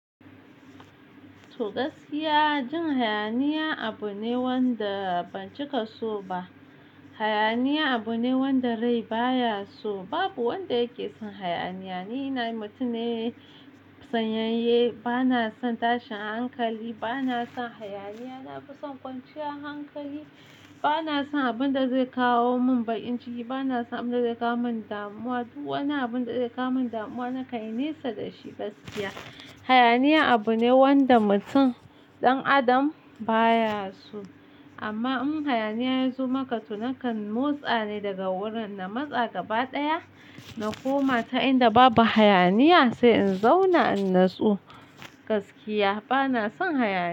To gaskiya, jin hayaniya abu ne wanda ban cika so ba. Hayaniya abu ne wanda rai baya so. Babu wanda yake son hayaniya. Ni na mutum ne sanyanye, bana son tashin hankali, bana son hayaniya, na fi son kwanciyar hankali. Bana son abun da zai kawo mun bakin ciki, bana son abun da zai kawo mun damuwa. Duk wani abun da zai kawo mun damuwa nakan nesa da shi gaskiya. Hayaniya abu ne wanda mutum, dan adam baya so. Amma in hayaniya ya zo maka to naka motsa ne daga wurin, na matsa gaba ɗaya na koma ta inda babu hayaniya sai in zauna ina tsu gaskiya. Bana son hayaniya.